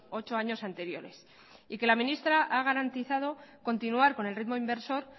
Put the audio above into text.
ocho años anteriores y que la ministra ha garantizado continuar con el ritmo inversor